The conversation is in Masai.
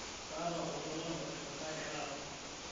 kaata oltuala otipikaki taata